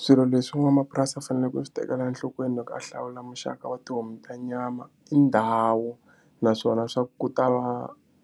Swilo leswi n'wamapurasi a faneleke ku swi tekela enhlokweni loko a hlawula muxaka wa tihomu ta nyama i ndhawu naswona swa ku ta va